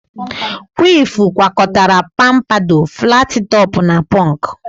Kwif gwakọtara pampadọ, flatị tọpụ na pọnk